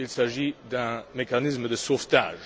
Il s'agit d'un mécanisme de sauvetage.